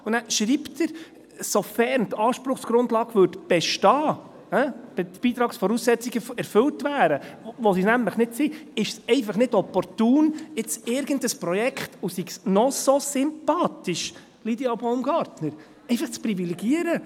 Und dann schreibt er: «Sofern» die Anspruchsgrundlage bestehen würde, «die Beitragsvoraussetzungen erfüllt wären», was sie nämlich nicht sind, ist es einfach nicht opportun, jetzt irgendein Projekt – und sei es noch so sympathisch, Lydia Baumgartner – einfach zu privilegieren.